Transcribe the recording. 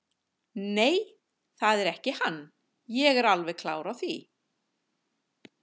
Nei, það er ekki hann, ég er alveg klár á því.